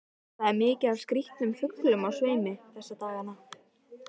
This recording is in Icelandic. Það er mikið af skrýtnum fuglum á sveimi þessa dagana.